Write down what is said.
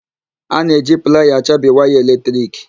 A na-eji playa achabi waya eletrik.